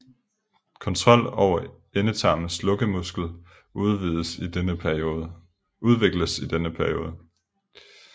Kontrol over endetarmens lukkemuskel udvikles i denne periode